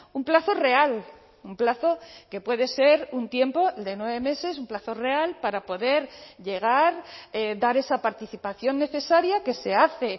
un plazo real un plazo que puede ser un tiempo de nueve meses un plazo real para poder llegar dar esa participación necesaria que se hace